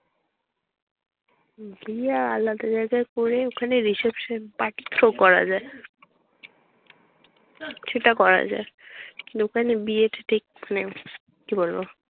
বিয়ে আলাদা জায়গায় করে ওখানে reception party through করা যায় না? সেটা করা যায়। লোকে না বিয়েটা দেখবে না কি বল?